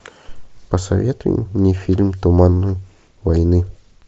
посоветуй мне фильм туман войны